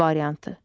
B variantı.